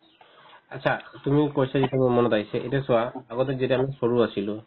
achcha এইটো মোৰ question হিচাপে মনত আহিছে এতিয়া চোৱা আগতে যেতিয়া আমি সৰু আছিলো